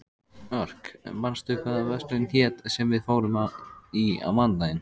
Örk, manstu hvað verslunin hét sem við fórum í á mánudaginn?